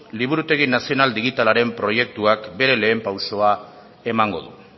liburutegi nazional digitalaren proiektuak bere lehen pausua emango du